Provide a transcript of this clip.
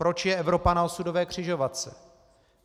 Proč je Evropa na osudové křižovatce?